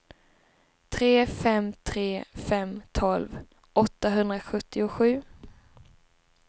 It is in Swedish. tre fem tre fem tolv åttahundrasjuttiosju